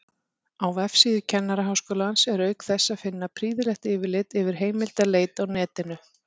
Á vefsíðu Kennaraháskólans er auk þess að finna prýðilegt yfirlit yfir heimildaleit á netinu.